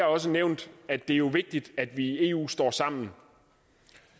også nævnt at det jo er vigtigt at vi i eu står sammen